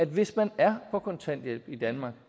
hvis man er på kontanthjælp i danmark